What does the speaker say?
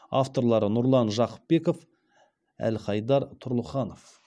авторлары нұрлан жақыпбеков әлхайдар тұрлыханов